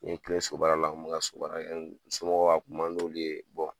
N ye tile so baara la n kun ka so baara kɛ, n somɔgɔ ka kuma n'olu ye